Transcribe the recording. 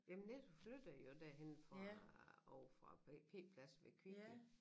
Jamen Netto flyttede jo derhenne fra ovre fra P pladsen ved Kvickly